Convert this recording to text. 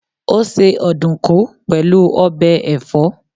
Ó se ọ̀dùkún pẹ̀lú ọbẹ̀ ẹ̀fọ́